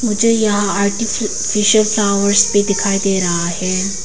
मुझे यहां artificial flowers भी दिखाई दे रहा है।